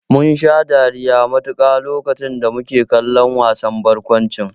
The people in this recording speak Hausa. Munsha dariya mutuƙa lokacin da muke kallon wasan barkwancin.